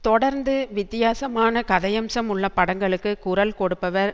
தொடர்ந்து வித்தியாசமான கதையம்சம் உள்ள படங்களுக்கு குரல் கொடுப்பவர்